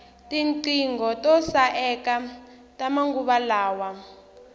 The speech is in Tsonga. tinqingho to saeka ta manguva lawa